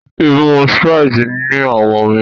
imú Sprite ní awọ omí.